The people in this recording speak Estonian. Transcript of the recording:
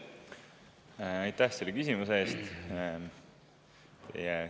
Aitäh selle küsimuse eest!